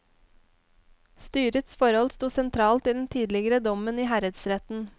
Styrets forhold sto sentralt i den tidligere dommen i herredsretten.